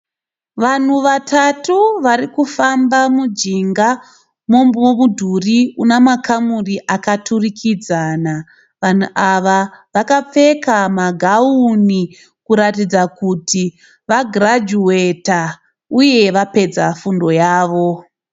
Vanhu vatatu varikufamba mujika memidhuri una makamuri akaturikidzana. Vanhu ava vakapfeka magawuni kuratidza kuti vagirajuweta uye vapedza fundo yavo.